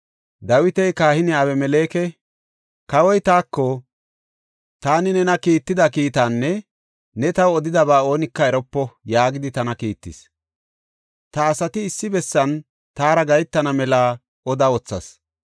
Dawiti kahiniya Abimeleke, “Kawoy taako, ‘Taani nena kiitida kiitaanne ta new odidaba oonika eropo’ yaagidi tana kiittis. Ta asati issi bessan taara gahetana mela oda wothas.